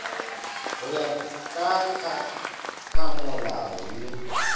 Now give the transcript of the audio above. go ya ka tlhakamolao ye